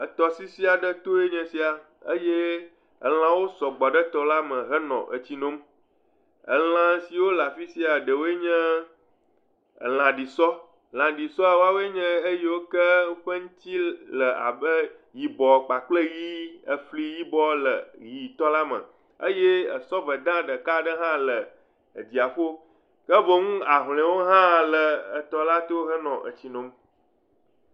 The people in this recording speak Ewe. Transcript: Etɔsisi aɖe nye esia eye elãwo sɔgbɔ ɖe etɔ la me henɔ etsi nom. Elã siwo le afi sia ɖewoe nye, lãɖisɔ. Lãɖisɔ woawoe nye eyiwo ke woƒe ŋuti le abe yibɔ kpakple ʋi afli yibɔ le ʋitɔ la me eye sɔveda ɖeka aɖe hã le dziaƒo. Ke boŋ ahloẽ hã le etɔ la to henɔ etsi nom.